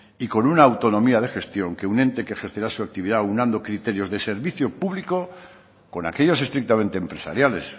y con una autonomía de gestión que un ente que ejercerá su actividad aunando criterios de servicio público con aquellos estrictamente empresariales